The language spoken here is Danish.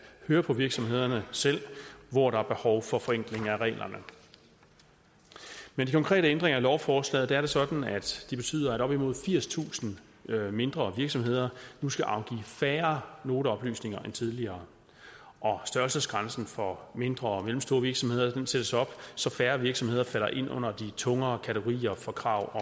høre fra virksomhederne selv hvor der er behov for forenkling af reglerne med de konkrete ændringer i lovforslaget er det sådan at de betyder at op imod firstusind mindre virksomheder nu skal afgive færre noteoplysninger end tidligere og størrelsesgrænsen for mindre og mellemstore virksomheder sættes op så færre virksomheder falder ind under de tungere kategorier for krav